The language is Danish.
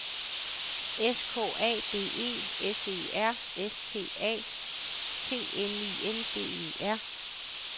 S K A D E S E R S T A T N I N G E R